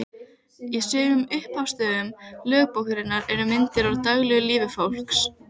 Bláfellið blasti við henni og síðan endalaus grámóskulegur himinninn.